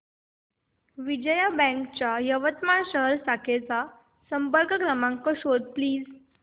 Vijaya bank च्या यवतमाळ शहर शाखेचा संपर्क क्रमांक शोध प्लीज